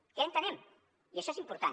què entenem i això és important